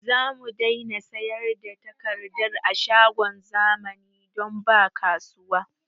Zamu daina sayar da takardar a shagon zamani don ba kasuwa